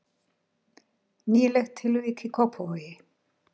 Nýlegt tilvik í Kópavogi